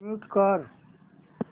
mute कर